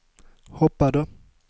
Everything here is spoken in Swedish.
hoppade